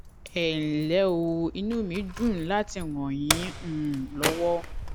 ẹ ǹlẹ o inú mí dùn láti ràn yín um lọwọ